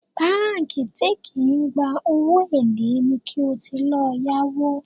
Báńkì tí kì í gba owó èlé ni kí o ti lọ yáwó